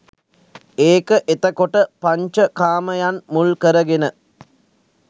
ඒක එතකොට පංච කාමයන් මුල් කරගෙන